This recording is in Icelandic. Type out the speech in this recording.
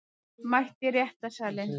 Mætt í réttarsalinn